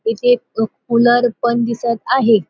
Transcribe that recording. इथे कूलर पण दिसत आहे.